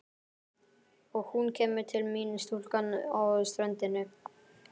Og hún kemur til mín stúlkan á ströndinni.